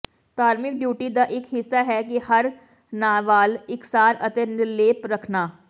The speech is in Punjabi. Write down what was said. ਧਾਰਮਿਕ ਡਿਊਟੀ ਦਾ ਇਕ ਹਿੱਸਾ ਹੈ ਕਿ ਹਰ ਵਾਲ ਇਕਸਾਰ ਅਤੇ ਨਿਰਲੇਪ ਰੱਖਣਾ